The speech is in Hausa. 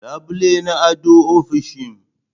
labule na ado ofishin.